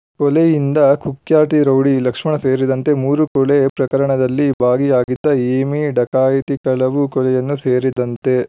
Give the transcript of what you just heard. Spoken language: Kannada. ಕೊಲೆಯಿಂದ ಕುಖ್ಯಾತಿ ರೌಡಿ ಲಕ್ಷ್ಮಣ ಸೇರಿದಂತೆ ಮೂರು ಕೊಲೆ ಪ್ರಕರಣದಲ್ಲಿ ಭಾಗಿಯಾಗಿದ್ದ ಹೇಮಿ ಡಕಾಯಿತಿ ಕಳವು ಕೊಲೆಯನ್ನು ಸೇರಿದಂತೆ